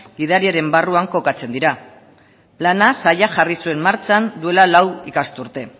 gidariaren barruan kokatzen dira plana sailak jarri zuen martxan duela lau ikasturte